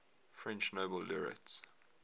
french nobel laureates